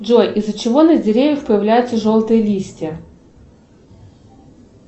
джои из за чего на деревьях появляются желтые листья